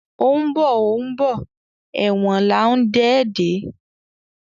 O ńbo o ńbo èwòn là ńdé dè